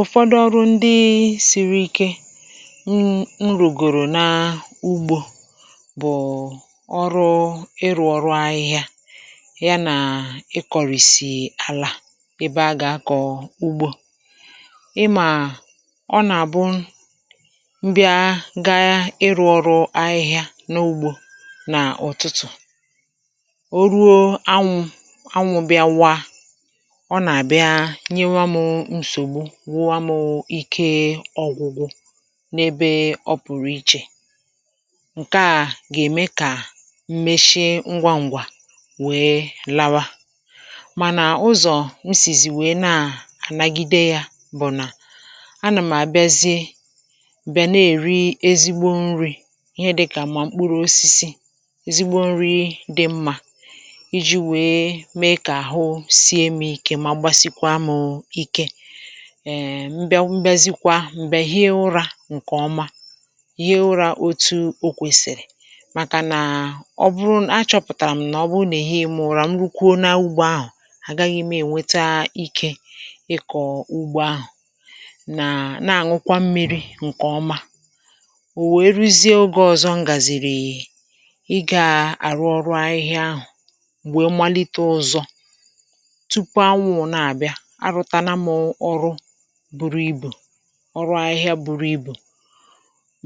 ụ̀fọdụ ọrụ, ndị siri ike n’ rùgòrò na ugbȯ, bụ̀ ọrụ ịrụ̇ ọrụ ahịhịa ya, nà ịkọ̀rị̀sị àlà ebe a gà-akọ̀ ugbȯ. ị mà, ọ nà-àbụ m bịa gaa ịrụ̇ ọrụ ahịhịa n’ugbȯ n’ụ̀tụtụ̀, o ruo anwụ̇ anwụ̇ bịawa wụwa, um mù ike ọgwụgwụ. n’ebe ọ pùrù ichè, ǹke a gà-ème kà m̀mèshị ngwa ǹgwà wee lawa. mànà ụzọ̀ m sì zì wee nà-ànagide yȧ bụ̀ nà a nà m̀ àbịazie, bị̀a na-èri ezigbo nri̇ ihe dịkà mkpụrụ osisi, ezigbo nri dị mmà, iji̇ wee mee kà àhụ sie, um mee ike. mm bịa, mgbyezikwa m̀gbè ihe ụrȧ ǹkè ọma, ihe ụrȧ otu o kwèsìrì. màkà nàà ọ bụrụ a chọ̇pụ̀tàrà m nà ọ bụrụ nà ehi̇ mụ nà rukwu na ugbȯ ahụ̀, àgaghị̇ m ènweta ikė ịkọ̀ ugbȯ ahụ̀. nà nà-àṅụkwa m mmi̇ri̇ ǹkè ọma, ò wee ruzie oge ọ̀zọ m gàzìrì. ị gà àrụ ọrụ ahịhịa ahụ̀, m̀gbè malite ụzọ, bụrụ ibù ọrụ ahịhịa, um bụrụ ibù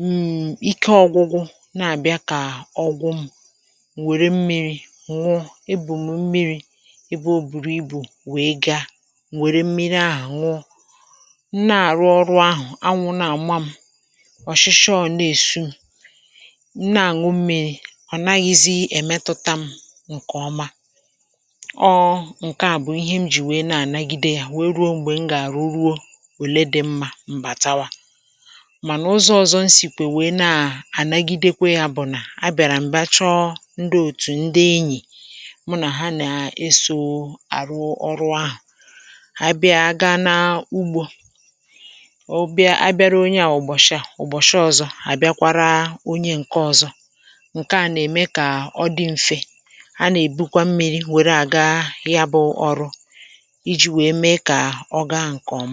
um, ike ọgụgụ na-abịa kà ọgwụ. mù nwèrè mmịrị̇ nnu, e bùmù mmịrị̇ ebe o bùrụ ibù, wee gaa, um nwere mmịrị̇ ahụ̀, nwụọ nne, à rụọ ọrụ ahụ̀. anwụ̇ na-àma m ọ̀shịshị, ọ̀ na-esu, na-ànwụ, mmịrị̇ ọ̀naghịzị èmetuta m ǹkè ọma ọọ. nke à bụ̀ ihe m jì wee na-ànagide yȧ. òle dị mmȧ, mbàtawa, mànà ụzọ̇ ọ̀zọ, nsìkwè, nwèe na-ànagidekwa ya. bụ̀ nà a bịàrà m̀bà chọ ndị òtù, um ndị enyì mụ nà ha nà-eso àrụ ọrụ ahụ̀. à bịara, ọ gaa na ugbȯ, obiȧ; a bịara onye à ụ̀bọ̀shịa ụ̀bọ̀shịa, ọ̀zọ à bịakwara onye ǹke ọ̀zọ. ǹke a nà-ème kà ọ dị m̀fè. a nà-èbukwa mmịrị̇, nwèrè à gaa ya bụ̇, um ọrụ ọga nkọma.